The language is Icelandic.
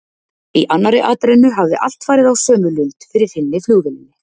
Í annarri atrennu hafði allt farið á sömu lund fyrir hinni flugvélinni.